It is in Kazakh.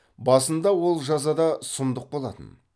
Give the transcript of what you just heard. басында ол жаза да сұмдық болатын